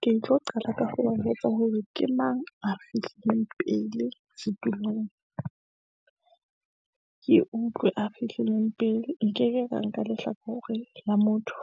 Ke tlo qala ka ho ba jwetsa hore ke mang a fihlileng pele setulong, ke utlwe a fihlileng pele. Nke ke ka nka lehlakore la motho